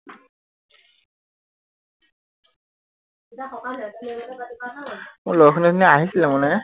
মোৰ লগৰখিনি অথনি আহিছিলে মানে